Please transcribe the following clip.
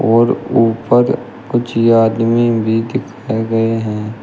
और ऊपर कुछ आदमी भी दिखाए गए हैं।